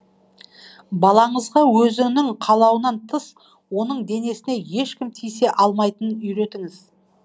балаңызға өзінің қалауынан тыс оның денесіне ешкім тисе алмайтынын үйретіңіз